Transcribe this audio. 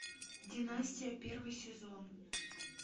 династия первый сезон